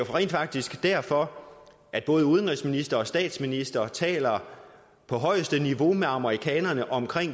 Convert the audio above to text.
rent faktisk derfor at både udenrigsministeren og statsministeren taler på højeste niveau med amerikanerne om